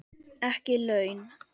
Ekki laun.